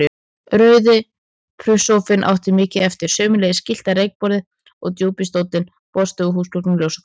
Rauði plusssófinn átti mikið eftir, sömuleiðis gyllta reykborðið og djúpi stóllinn, borðstofuhúsgögnin og ljósakrónan.